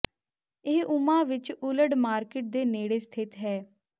ਇਹ ਓਮਹਾ ਵਿਚ Old Market ਦੇ ਨੇੜੇ ਸਥਿਤ ਹੈ